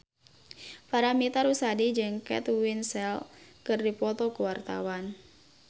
Paramitha Rusady jeung Kate Winslet keur dipoto ku wartawan